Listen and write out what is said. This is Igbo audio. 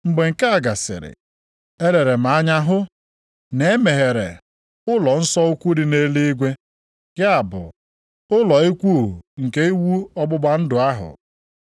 Mgbe nke a gasịrị, elere m anya hụ, na e meghere, ụlọnsọ ukwu dị nʼeluigwe, ya bụ, ụlọ ikwu nke iwu ọgbụgba ndụ ahụ.